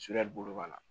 bolo ka na